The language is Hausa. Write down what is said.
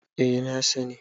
eh na sani